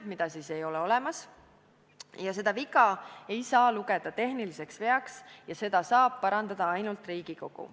Seda punkti ei ole olemas, ja seda viga ei saa lugeda tehniliseks veaks ja seda saab parandada ainult Riigikogu.